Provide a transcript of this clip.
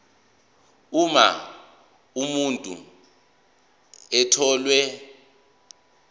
uma umuntu etholwe